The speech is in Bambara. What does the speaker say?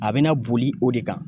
A bina boli o de kan